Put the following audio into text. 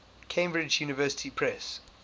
cambridge university press